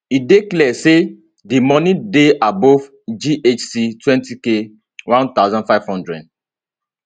e dey clear say di moni dey above ghc 20k 1500